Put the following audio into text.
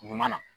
Ɲuman na